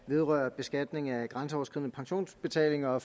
vedrører beskatning af grænseoverskridende pensionsbetalinger og at